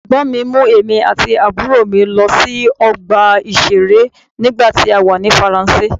Ẹ̀gbọ́n mi mú èmi àti àbúrò mi lọ sí ọgbà ìṣeré nígbà tí a wà ní Faransé.